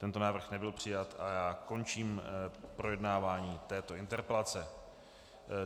Tento návrh nebyl přijat a já končím projednávání této interpelace.